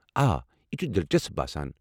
آ، یہِ چھُ دلچسپ باسان۔